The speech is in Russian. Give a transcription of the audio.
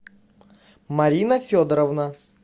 марина федоровна